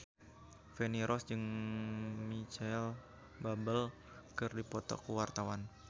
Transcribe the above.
Feni Rose jeung Micheal Bubble keur dipoto ku wartawan